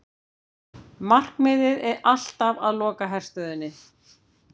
Markmiðið alltaf að loka herstöðinni